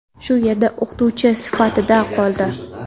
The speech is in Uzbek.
shu yerda o‘qituvchi sifatida qoldi.